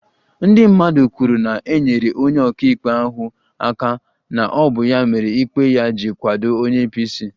Ndị mmadụ kwuru na e nyere onye ọka ikpe ahụ aka na ọ bụ ya mere ikpe ya ji kwado onye apc